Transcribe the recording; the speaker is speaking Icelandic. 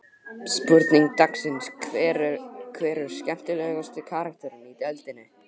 Spurning dagsins: Hver er skemmtilegasti karakterinn í deildinni?